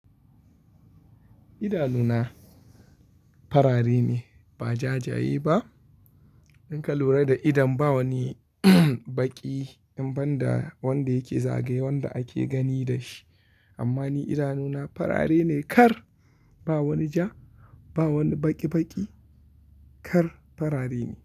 Idanuna farare ne ba jajaye ba. In ka lura da idon ba wani baƙi, in ban da wanda yake zagaye wanda ake gani da shi. Amma ni idanuna farare ne kar ba wani ja, ba wani baƙi-baƙi kar farare ne.